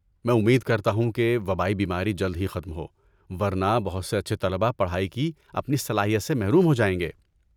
میں امید کرتا ہوں کہ وبائی بیماری جلد ہی ختم ہو، ورنہ بہت سے اچھے طلباء پڑھائی کی اپنی صلاحیت سے محروم ہو جائیں گے۔